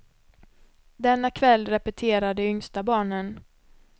Denna kväll repeterar de yngsta barnen.